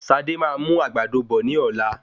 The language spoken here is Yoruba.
Sadé máa mú àgbàdo bọ̀ ní ọ̀la